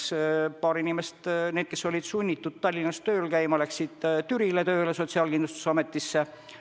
Samas paar inimest, kes olid sunnitud Tallinnas tööl käima, läksid tööle Türile Sotsiaalkindlustusametisse.